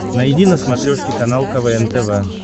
найди на смотрешке канал квн тв